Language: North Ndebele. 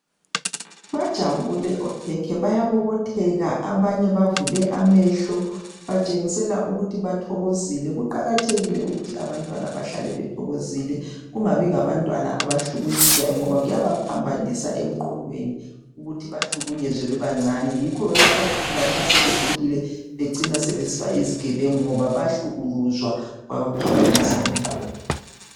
Bajabule okhekhe bayabobotheka. Abanye bavule amehlo batshengisela ukuthi bathokozile. Kuqakathekile ukuthi abantwana bahlale bethokozile kungabi ngabantwana abahlukunyezwayo ngoba kuyabaphambanisa emqondweni ukuthi bahlukunyezwe bebancane. Yikho lapho lanxa sebekhulile becina sebesiba yizigebengu ngoba bahlukuluzwa kwabaphambanisa umqondo.